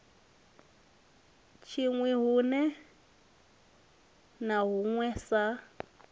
tshinwi huṋwe na huṋwe sa